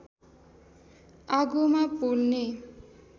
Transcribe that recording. आगोमा पोल्ने